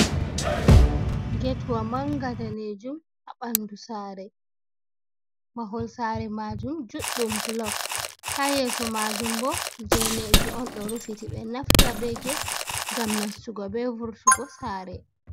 Getwa manga daneejum ha ɓandu saare, mahol saare majum juɗɗum bulok, ha yeeso majum bo geneeji on ɗo rufiti, ɓe ɗo naftira be get ngam nastugo be vurtugo saare.